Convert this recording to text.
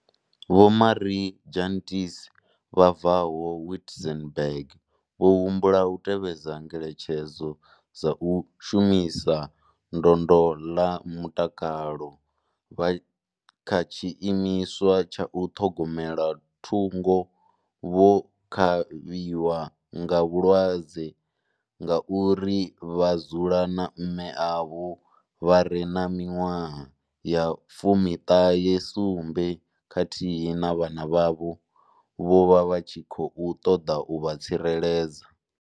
Vho Marie Jantjies vha bvaho Witzenberg vho humbula u tevhedza ngeletshedzo dza vhashumi vha ndondolamutakalo vha kha tshiimiswa tsha u ṱhogomela thungo vho kavhiwaho nga vhulwadze ngauri vha dzula na mme avho vha re na miṅwaha ya 97 khathihi na vhana vhavho, vho vha tshi tshi khou ṱoḓa u vha tsireledza.